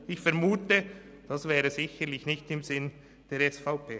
Ich vermute, das wäre sicherlich nicht im Sinn der SVP.